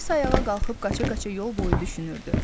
Alisa ayağa qalxıb qaça-qaça yol boyu düşünürdü.